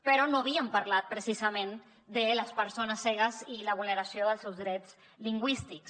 però no havíem parlat precisament de les persones cegues i la vulneració dels seus drets lingüístics